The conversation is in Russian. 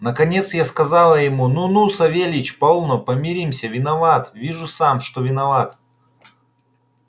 наконец я сказал ему ну ну савельич полно помиримся виноват вижу сам что виноват